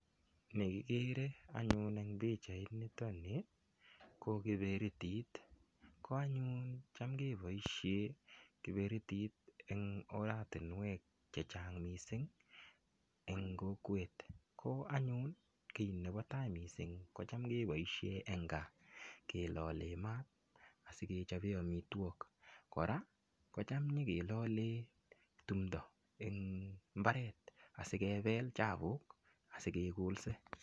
Ni igere anyun en pichaini ko kiberitit ko yon kiboisien kiberitit en ortinwek Che Chang en kokwet ko anyun kit nebo tai mising ko Cham keboisien en gaa kilolen maat asi kechoben amitwogik kora kocham konyo kilolen timdo en mbaret asi kebel chapuk asi kegolse